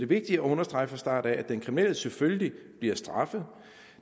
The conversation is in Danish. vigtigt at understrege fra start af at den kriminelle selvfølgelig bliver straffet